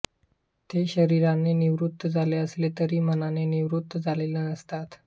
ते शरीराने निवृत्त झाले असले तरी मनाने निवृत्त झालेले नसतात